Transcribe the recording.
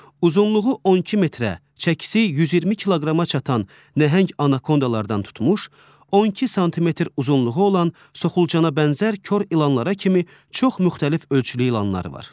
Uzunluğu 12 metrə, çəkisi 120 kiloqrama çatan nəhəng anakondalardan tutmuş, 12 sm uzunluğu olan soxulcana bənzər kor ilanlara kimi çox müxtəlif ölçülü ilanlar var.